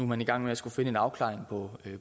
man i gang med at skulle finde en afklaring på